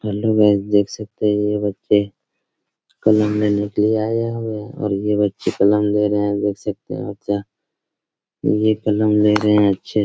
देख सकते हैं ये बच्चे कलम लेने के लिए आए हुए हैं और ये बच्चे कलम ले रहें हैं देख सकते हैं ये कलम ले रहें हैं बच्चे --